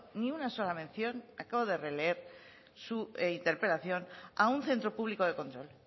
ni una sola mención acabo de releer su interpelación a un centro público de control